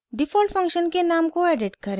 default function के नाम को एडिट करें